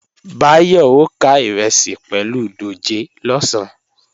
Báyọ̀ ó ká ìrẹsì pẹ̀lú dòjé lọ̀sán